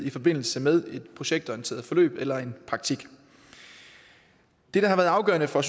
i forbindelse med et projektorienteret forløb eller en praktik det der har været afgørende for